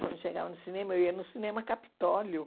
Quando chegava no cinema, eu ia no cinema Capitólio.